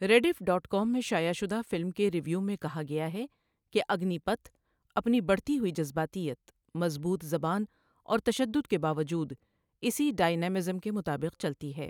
Rediff dot com میں شائع شدہ فلم کے ریویو میں کہا گیا ہے کہ 'اگنی پتھ، اپنی بڑھتی ہوئی جذباتیت، مضبوط زبان اور تشدد کے باوجود، اسی ڈائنامزم کے مطابق چلتی ہے'۔